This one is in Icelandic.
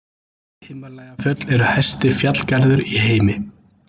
himalajafjöll eru hæsti fjallgarður í heimi